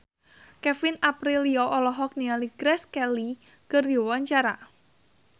Kevin Aprilio olohok ningali Grace Kelly keur diwawancara